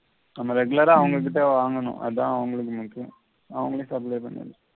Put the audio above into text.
நம்ம regular ஆ அவங்க கிட்டயே வாங்கணும் அதான் அவங்களுக்கு முக்கியம். அவங்களே supply பண்ணல